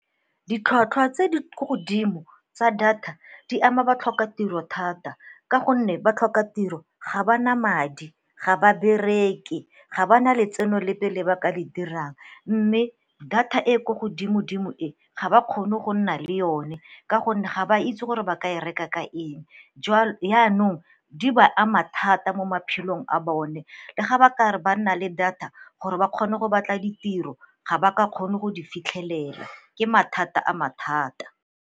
Ditlhwatlhwa tse di ko godimo tsa data di ama batlhokatiro thata ka gonne batlhokatiro ga ba na madi, ga ba bereke ga ba na le tseno lepe le ba ka le dirang. Mme data e ko godimo dimo e ga ba kgone go nna le one ka gonne ga ba itse gore ba ka e reka ka eng, yanong di ba ama thata mo maphelong a bone lega ba ka re ba nna le data gore ba kgone go batla ditiro ga ba ka kgone go di fitlhelela, ke mathata a mathata.